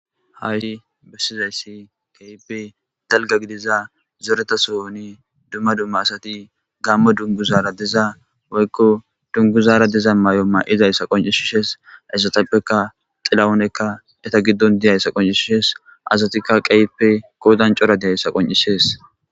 haahi bessizayssi keype dalga gidiza zoreta sohuni dumma dumma asati gammo dunguzaara diza woykko dunguzaara diza may'o ma'izayssa qoncishishes esatappeka xilawunekka eta giddon diyayssa qoncishishes asatikka keype qoodan cora diyayssa qoncishees